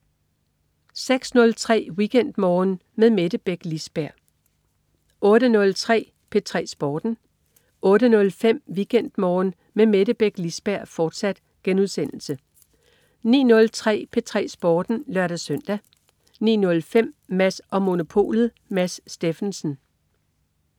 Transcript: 06.03 WeekendMorgen med Mette Beck Lisberg 08.03 P3 Sporten 08.05 WeekendMorgen med Mette Beck Lisberg, fortsat* 09.03 P3 Sporten (lør-søn) 09.05 Mads & Monopolet. Mads Steffensen